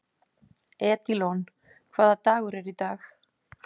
Edílon, hvaða dagur er í dag?